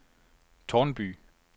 Tårnby